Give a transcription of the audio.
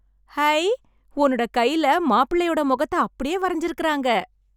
high... உன்னோட கைல மாப்பிளயோட மொகத்த அப்டியே வரைஞ்சிருக்கறாங்க...